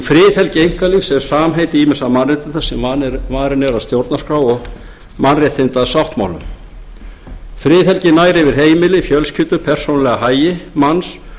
friðhelgi einkalífs er samheiti ýmissa mannréttinda sem varin eru af stjórnarskrá og mannréttindasáttmálum friðhelgin nær yfir heimili fjölskyldu og persónulega hagi manns